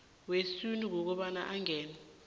wesintu kobana angene